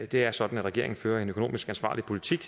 det er sådan at regeringen fører en økonomisk ansvarlig politik